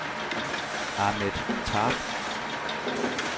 Ahmet Tarp